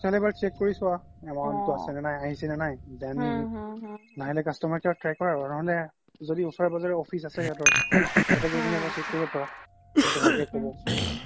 তুমি এবাৰ check কৰি সুৱা amount টো আছে নে নাই আহিছে নে নাই নহিলে customer care ক try কৰা আৰু ন্হ্'লে ওচৰে পাজৰে য্দি office আছে সিহাতৰ তাতে গৈ কিনে এবাৰ check কৰিব পাৰা সিহতি ভালকে কব